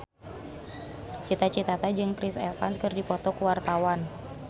Cita Citata jeung Chris Evans keur dipoto ku wartawan